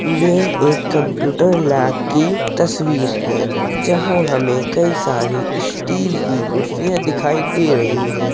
यह एक computer lab की तस्वीर है। जहाँ हमें कई सारी स्टील की कुर्सियां दिखाई दे रही हैं।